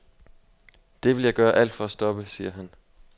Det vil jeg gøre alt for at stoppe, siger han.